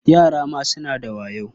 Yara ma suna da wayo.